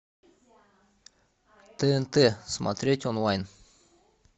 тнт смотреть онлайн